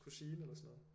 Kusine eller sådan noget